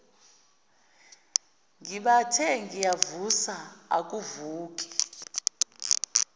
ngibathe ngiyamvusa akavuki